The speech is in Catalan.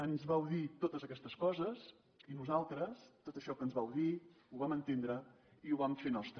ens vau dir totes aquestes coses i nosaltres tot això que ens vau dir ho vam entendre i ho vam fer nostre